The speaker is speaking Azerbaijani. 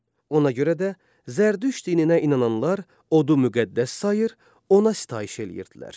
Ona görə də Zərdüşt dininə inananlar odu müqəddəs sayır, ona sitayiş eləyirdilər.